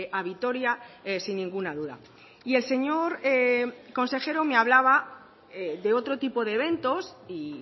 a vitoria sin ninguna duda y el señor consejero me hablaba de otro tipo de eventos y